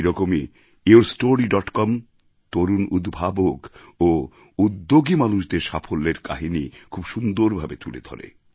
সেই রকমই your story dot com তরুণ উদ্ভাবক ও উদ্যোগী মানুষদের সাফল্যের কাহিনি খুব সুন্দরভাবে তুলে ধরে